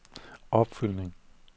opfølgning